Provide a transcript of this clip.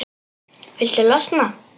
Viltu losna-?